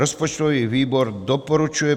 Rozpočtový výbor doporučuje